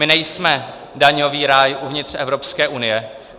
My nejsme daňový ráj uvnitř Evropské unie.